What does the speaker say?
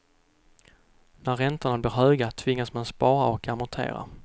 När räntorna blir höga tvingas man spara och amortera.